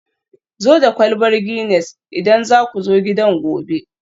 zo da kwalbar Guinness idan za ku zo gidan gobe